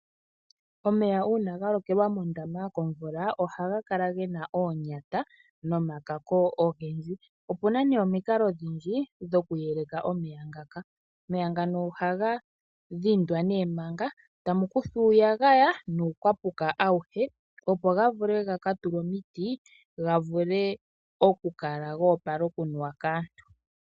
Omeya uuna ga lokelwa mondama komvula ohaga kala gena oonyata nomakako ogendji . Opuna nee omikalo odhindji dhokuyeleka omeya ngaka . Omeya ngano ohaga dhindwa nee manga ta mu kuthwa uuyagaya nuukwapuka auhe opo ga vule ga ka tulwe omiti ga vule okukala goopala okunuwa kaantu .